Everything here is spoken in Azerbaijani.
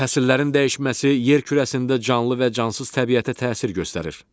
Fəsillərin dəyişməsi yer kürəsində canlı və cansız təbiətə təsir göstərir.